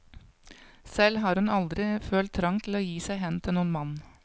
Selv har hun aldri følt trang til å gi seg hen til noen mann.